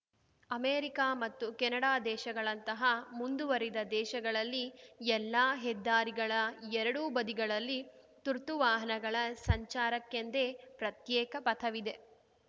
America ಮತ್ತು Canada ದೇಶಗಳಂತಹ ಮುಂದುವರಿದ ದೇಶಗಳಲ್ಲಿ ಎಲ್ಲಾ ಹೆದ್ದಾರಿಗಳ ಎರಡೂ ಬದಿಗಳಲ್ಲಿ ತುರ್ತು ವಾಹನಗಳ ಸಂಚಾರಕ್ಕೆಂದೇ ಪ್ರತ್ಯೇಕ ಪಥವಿದೆ